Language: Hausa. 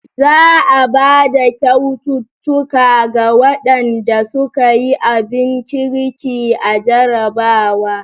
Zaa bada kyaututtuka ga waɗanda suka yi abin kirkin a jarrabawa.